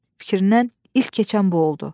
Fikrindən ilk keçən bu oldu.